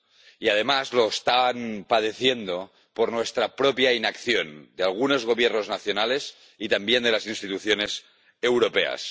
Y, además, lo están padeciendo por nuestra propia inacción —de algunos Gobiernos nacionales y también de las instituciones europeas—.